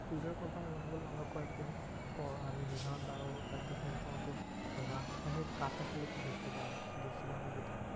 Food এর কথা আমি মানে বললাম আমরা কয়েকদিন পর আমি নিহান্ট আরও কয়েকটা friend সহ তো রাজশাহীর কাটাখালী তে ঘুরতে যাবো। গেছিলা